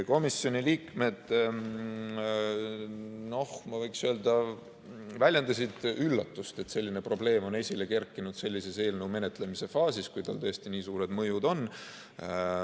Komisjoni liikmed, ma võiksin öelda, väljendasid üllatust, et selline probleem on esile kerkinud sellises eelnõu menetlemise faasis, kui tal tõesti nii suured mõjud on.